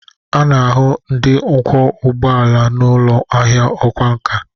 A na-ahụ ndị ọkwọ ụgbọ ala n'ụlọ ahịa ọkwá nkà